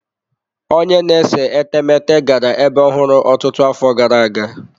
Onye na-ese etemeete gara ebe ọhụrụ ọtụtụ afọ gara aga.